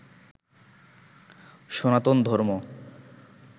সনাতন ধর্ম